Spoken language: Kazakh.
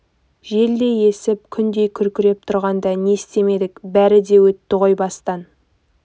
желдей есіп күндей күркіреп тұрғанда не істемедік бәрі де өтті ғой бастан